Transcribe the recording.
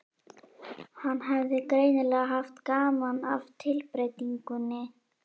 Hann hafði greinilega haft gaman af tilbreytingunni.